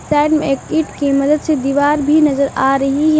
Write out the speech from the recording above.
Side में एक kit की मदद से दीवार भी नजर आ रही है।